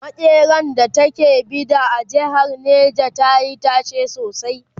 makeran da ta ke Bida a jehar neja tayi tashe sosai